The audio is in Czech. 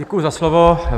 Děkuji za slovo.